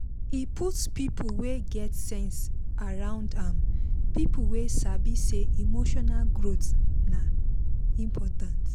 he put people wey get sense around am people wey sabi say emotional growth dey important